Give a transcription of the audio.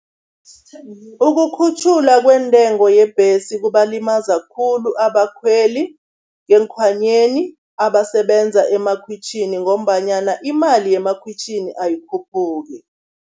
Ukukhutjhulwa kweentengo yebhesi kubalimaza khulu abakhweli ngeenkhwanyeni abasebenza emakhwitjhini, ngombanyana imali yemakhwitjhini ayikhuphuki.